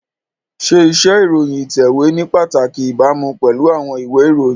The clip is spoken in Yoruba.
Ṣé iṣẹ́ ìròyìn ìtẹ̀wé ní pàtàkì ìbámu pẹ̀lú àwọn ìwé ìròyìn?